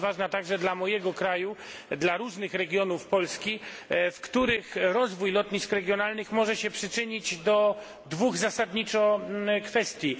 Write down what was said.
Ona jest ważna także dla mojego kraju, dla różnych regionów Polski, w których rozwój lotnisk regionalnych może się przyczynić zasadniczo do dwóch kwestii.